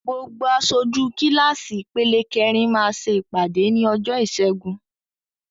Gbogbo aṣojú kíláàsì ìpele kẹrin máa ṣe ìpàdé ní ọjọ́ ìṣẹ́gun.